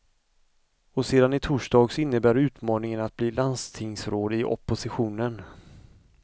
Och sedan i torsdags innebär utmaningen att bli landstingsråd i opposition.